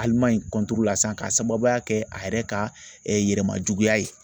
Alimaɲi la sisan k'a sababuya kɛ a yɛrɛ ka yɛrɛmajuguya ye.